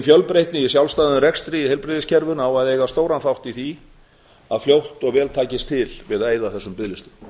fjölbreytni í sjálfstæðum rekstri í heilbrigðiskerfinu á að eiga stóran þátt í því að fljótt og vel takist til við að eyða þessum biðlistum